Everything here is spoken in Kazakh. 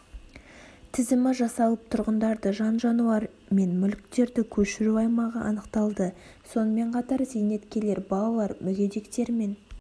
тізімі жасалып тұрғындарды жан-жануар мен мүліктерді көшіру аймағы анықталды сонымен қатар зейнеткерлер балалар мүгедектер мен